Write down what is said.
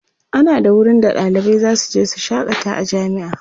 ana da wurin da ɗalibai zasu je su shakata a jami'a